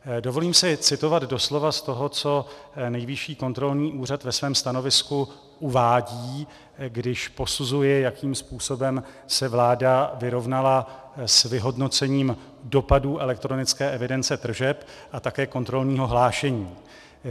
Dovolím si citovat doslova z toho, co Nejvyšší kontrolní úřad ve svém stanovisku uvádí, když posuzuje, jakým způsobem se vláda vyrovnala s vyhodnocením dopadů elektronické evidence tržeb a také kontrolního hlášení.